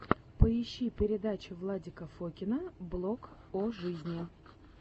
поищи передачи владика фокина блог о жизни